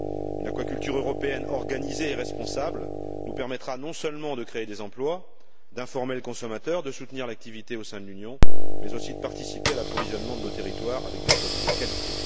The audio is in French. Une aquaculture européenne organisée et responsable nous permettra non seulement de créer des emplois, d'informer le consommateur, de soutenir l'activité au sein de l'Union, mais aussi de participer à l'approvisionnement de nos territoires avec des produits de qualité.